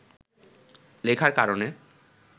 লেখার কারণে